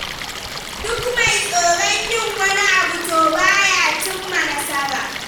Duk mai tsoron yin wani abu to ba ya cimma nasara.